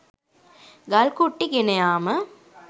ගල් කුට්ටි ගෙන යාම